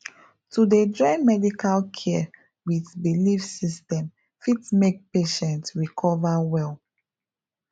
to dey join medical care with belief system fit make patient recover well